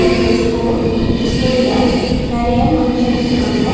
இது ஒரு ஸ்கூல் இந்த ஸ்கூல்ல நெறைய மனுசங்க இருக்காங்க.